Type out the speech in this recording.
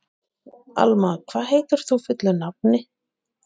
Alma, hvað heitir þú fullu nafni?